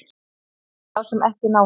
Hvað með þá sem ekki ná því?